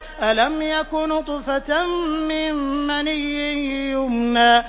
أَلَمْ يَكُ نُطْفَةً مِّن مَّنِيٍّ يُمْنَىٰ